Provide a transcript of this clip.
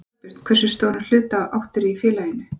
Þorbjörn: Hversu stóran hluta áttirðu í félaginu?